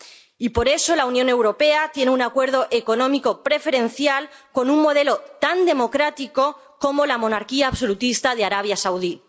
Y por eso la Unión Europea tiene un acuerdo económico preferencial con un modelo tan democrático como la monarquía absolutista de Arabia Saudí.